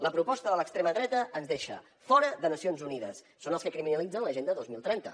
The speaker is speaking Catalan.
la proposta de l’extrema dreta ens deixa fora de nacions unides són els que criminalitzen l’agenda dos mil trenta